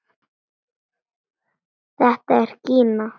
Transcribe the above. Þetta er Gína!